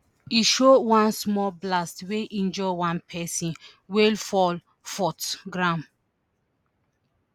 e show one small blast wey injure one person wey fall fot ground.